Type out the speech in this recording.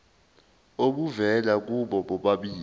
obuvela kubo bobabili